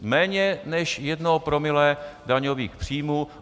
Méně než jedno promile daňových příjmů.